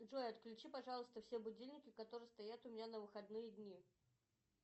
джой отключи пожалуйста все будильники которые стоят у меня на выходные дни